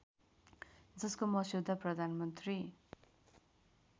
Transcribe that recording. जसको मस्यौदा प्रधानमन्त्री